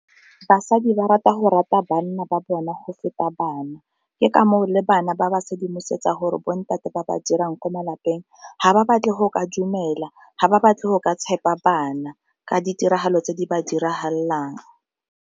Basadi ba rata go rata banna ba bona go feta bana, ke ka moo le bana ba ba sedimosetsa gore bo ntate ba ba dirang ko malapeng ga ba batle go ka dumela ga ba batle go ka tshepa bana ka ditiragalo tse di ba diragalelang.